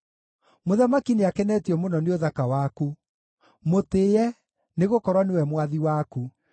Mũthamaki nĩakenetio mũno nĩ ũthaka waku; mũtĩĩe, nĩgũkorwo nĩwe mwathi waku.